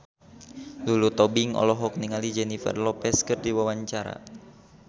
Lulu Tobing olohok ningali Jennifer Lopez keur diwawancara